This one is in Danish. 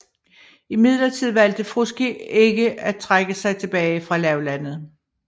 Imidlertid valgte Frusci ikke at trække sig tilbage fra lavlandet